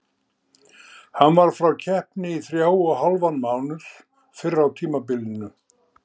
Hann var frá keppni í þrjá og hálfan mánuð fyrr á tímabilinu.